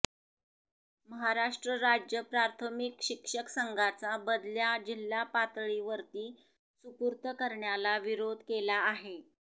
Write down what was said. महाराष्ट्र राज्य प्राथमिक शिक्षक संघाचा बदल्या जिल्हापातळीवरती सुपूर्त करण्याला विरोध केला आहे